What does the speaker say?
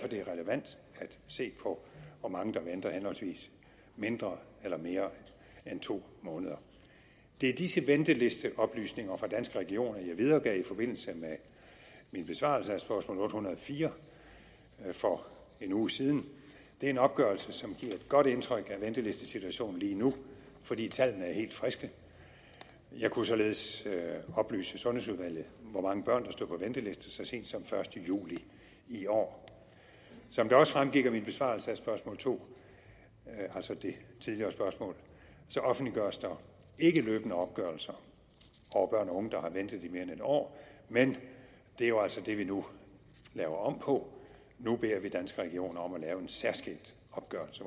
det er relevant at se på hvor mange der venter henholdsvis mindre eller mere end to måneder det er disse ventelisteoplysninger fra danske regioner jeg videregav i forbindelse med min besvarelse af spørgsmål otte hundrede og fire for en uge siden det er en opgørelse som giver et godt indtryk af ventelistesituationen lige nu fordi tallene er helt friske jeg kunne således oplyse sundhedsudvalget hvor mange børn der står på venteliste så sent som første juli i år som det også fremgik af min besvarelse af spørgsmål to altså det tidligere spørgsmål offentliggøres der ikke løbende opgørelser over børn og unge der har ventet i mere end en år men det er jo altså det vi nu laver om på nu beder vi danske regioner om at lave en særskilt opgørelse